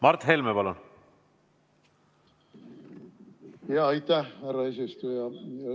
Aitäh, härra eesistuja!